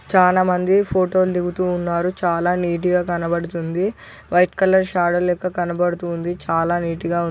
చాలా మంది ఫొటో లు దిగుతూ ఉన్నారు చాల నీట్ గ కనపడుతుంది వైట్ కలర్ షాడో లెక్క కనపడుతూ ఉంది చాల నీట్ గ ఉం --